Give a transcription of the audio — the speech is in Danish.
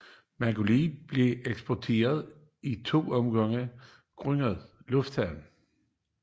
Maglebylille blev eksproprieret i to omgange grundet lufthavnen